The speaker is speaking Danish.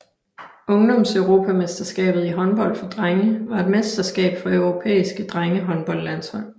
Ungdomseuropamesterskabet i håndbold for drenge var et mesterskab for europæiske drengehåndboldlandshold